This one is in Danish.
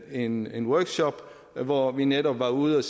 en en workshop hvor vi netop var ude